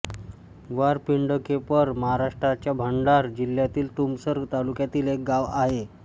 वारपिंडकेपर महाराष्ट्राच्या भंडारा जिल्ह्यातील तुमसर तालुक्यातील गाव आहे